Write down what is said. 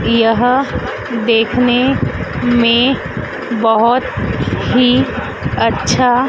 यह देखने में बहुत ही अच्छा--